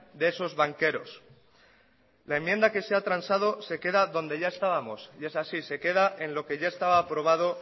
de esos banqueros la enmienda que se ha transado se queda donde ya estábamos y es así se queda en lo que ya estaba probado